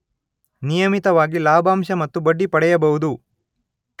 ನಿಯಮಿತವಾಗಿ ಲಾಭಾಂಶ ಮತ್ತು ಬಡ್ಡಿ ಪಡೆಯಬಹುದು.